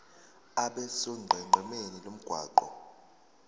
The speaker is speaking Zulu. abe sonqenqemeni lomgwaqo